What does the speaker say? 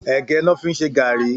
Ègë lò fi n ṣé gàrí